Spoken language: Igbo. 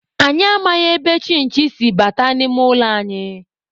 Anyị amaghị ebe chinchi si bata n'ime ụlọ anyị.